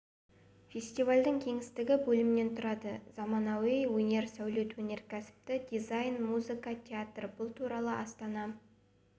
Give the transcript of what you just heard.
фестивальдің кеңістігі бөлімнен тұрады заманауи өнер сәулет өнеркәсіпті дизайн музыка театр бұл туралы астана